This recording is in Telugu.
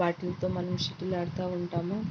వాటిలతో మనము షటిల్ ఆడతా ఉంటాము.